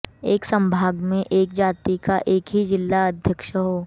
एक संभाग में एक जाति का एक ही जिलाध्यक्ष हो